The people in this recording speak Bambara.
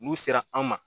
N'u sera an ma